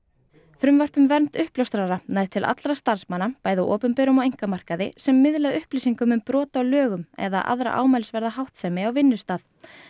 frumvarp um vernd uppljóstrara nær til allra starfsmanna bæði á opinberum og einkamarkaði sem miðla upplýsingum um brot á lögum eða aðra ámælisverða háttsemi á vinnustað